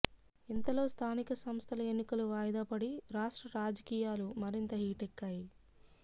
ఇంతలో స్థానిక సంస్థల ఎన్నికలు వాయిదా పడి రాష్ట్ర రాజకీయాలు మరింత హీటెక్కాయి